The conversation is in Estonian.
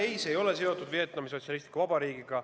Ei, see ei ole seotud Vietnami Sotsialistliku Vabariigiga.